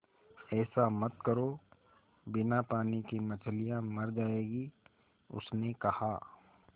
ऐसा मत करो बिना पानी के मछलियाँ मर जाएँगी उसने कहा